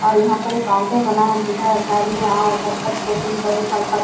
और यहाँ पर एक काउंटर बनाया दिखा घर में आओ झटपट कोटिंग करे फटफट --